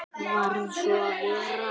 Varð svo að vera.